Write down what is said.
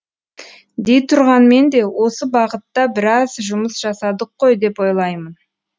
дейтұрғанмен де осы бағытта біраз жұмыс жасадық қой деп ойлаймын